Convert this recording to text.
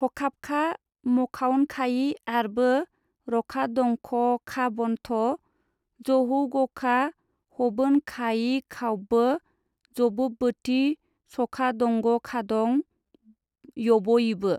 हखाबखा मखावनखायि आरबो रखादंखखाबन्थ जहौगखा हबोनखायिखावबबो जबोबबोति सखादंगखादं यबयिबो।